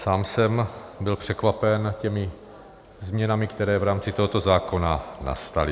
Sám jsem byl překvapen těmi změnami, které v rámci tohoto zákona nastaly.